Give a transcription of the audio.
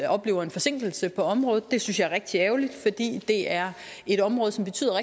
oplever en forsinkelse på området det synes jeg er rigtig ærgerligt fordi det er et område som betyder